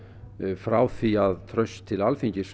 frá því að traust til Alþingis